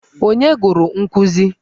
Ònye gụrụ nkụzi?